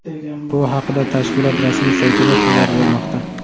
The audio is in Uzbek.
Bu haqida tashkilot rasmiy saytida xabar bermoqda .